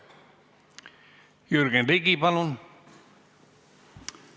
Jürgen Ligi, palun!